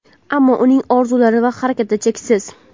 ammo uning orzulari va harakati cheksiz.